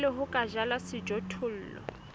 pele ho ka jalwa sejothollo